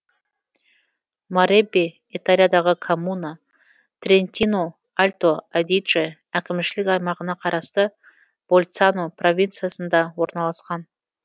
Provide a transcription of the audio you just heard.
мареббе италиядағы коммуна трентино альто адидже әкімшілік аймағына қарасты больцано провинциясында орналасқан